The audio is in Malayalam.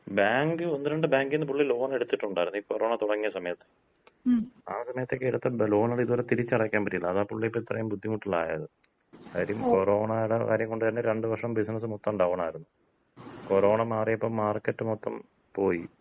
ബാങ്ക്, ഒന്ന് രണ്ട് ബാങ്കിന്ന് പുള്ളി ലോണെടുത്തിട്ടുണ്ടാരുന്ന്. ഈ കൊറോണ തൊടങ്ങിയ സമയത്ത്. ആ സമയത്തൊക്കെ എടുത്ത ലോണ്കള് ഇപ്പൊ തിരിച്ചടയ്ക്കാമ്പറ്റിയില്ല. അതാണ് പുള്ളി ഇപ്പൊ ഇത്രയും ബുദ്ധിമുട്ടിലായത്. കാര്യം കൊറോണടെ കാര്യം കൊണ്ട് തന്ന രണ്ട് വർഷം ബിസിനസ് മൊത്തം ഡൗണാരുന്നു. കൊറോണ മാറിയപ്പോ മാർക്കറ്റ് മൊത്തം പോയി.